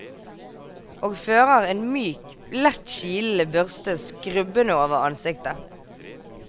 Og føreren myk, lett kilende børste skrubbende over ansiktet.